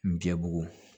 N diɲɛ bugu